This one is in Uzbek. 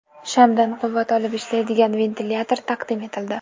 Shamdan quvvat olib ishlaydigan ventilyator taqdim etildi .